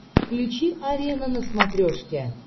включи арена на смотрешке